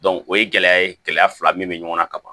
o ye gɛlɛya ye gɛlɛya fila min bɛ ɲɔgɔn na kaban